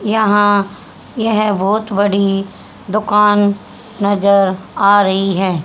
यहां यह बहोत बड़ी दुकान नजर आ रही है।